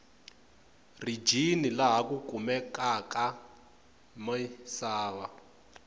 rijini laha ku kumekaku misava